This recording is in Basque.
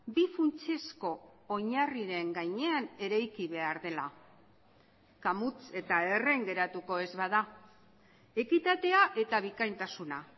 bi funtsezko oinarriren gainean eraiki behar dela kamuts eta erren geratuko ez bada ekitatea eta bikaintasuna